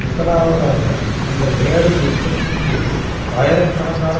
முதலாவதாக அந்த வேலை நிறுத்தத்தின்போது ஆயிரக்கணக்கான